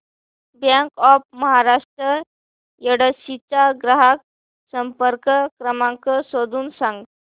bank of Maharashtra Yedshi चा ग्राहक संपर्क क्रमांक शोधून सांग